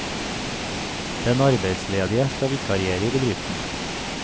Den arbeidsledige skal vikariere i bedriften.